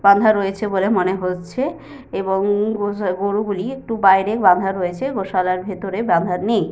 বাঁধা রয়েছে বলে মনে হচ্ছে এবং গো- গরুগুলি একটু বাইরে বাঁধা রয়েছে গোশালার ভিতরে বাঁধা নেই।